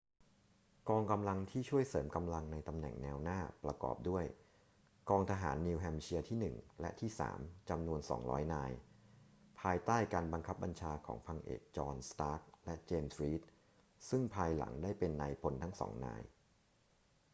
กองกำลังที่ช่วยเสริมกำลังในตำแหน่งแนวหน้าประกอบด้วยกองทหารนิวแฮมป์เชียร์ที่ 1 และที่ 3 จำนวน 200 นาย ภายใต้การบังคับบัญชาของพันเอกจอห์น สตาร์ก และเจมส์ รีด ซึ่งภายหลังได้เป็นนายพลทั้งสองนาย